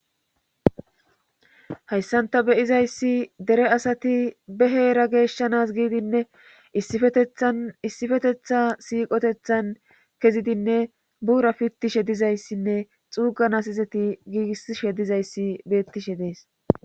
hayssan ta beyizayssi dere asati beheera geeshshanas giidinne tissifetetha siiqotethan kezidinne buura pittishe dizayssinne xuuganasizeti giigissishe dizayssi beettishe dees